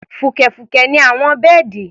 Fùkẹ̀fùkẹ̀ ni àwọn bẹ́ẹ̀dì.